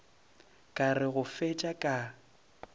ka re go fetša ka